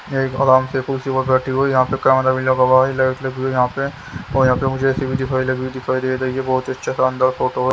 एक आराम से कुर्सी पर बैठी हुई यहां पे कैमरा भी लगा हुआ है लाइट लगी हुई है यहां पे और यहां पे मुझे ए_सी भी दिखाई लग रही दिखाई दे रही है बहुत ही अच्छा शानदार फोटो --